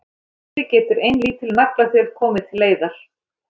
Þessu getur ein lítil naglaþjöl komið til leiðar.